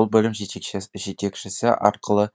ол бөлім жетекшісі арқылы